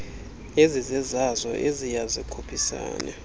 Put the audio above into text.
ezizezazo ezibya zikhuphisane